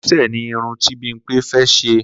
Kòlé̩sè̩ ni irun tí Bímpé fé̩ s̩e